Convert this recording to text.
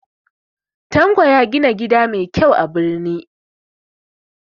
Tanko ya gina gida mai kyau a birni